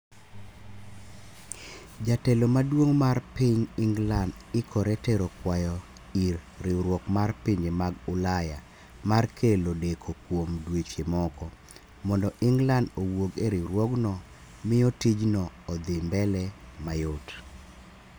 Jatelo maduong' mar ping England ikore tero kwayo ir riwruok mar pinje mag ulaya. mar kelo deko kuom dweche moko, mondo england owuog e riwruogno miyo tijno odhi mbele mayot